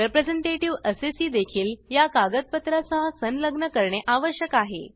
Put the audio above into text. representative assessee देखील या कागदपत्रा सह संलग्न करणे आवश्यक आहे